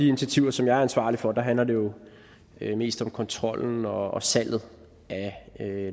initiativer som jeg er ansvarlig for handler det jo mest om kontrollen og og salget af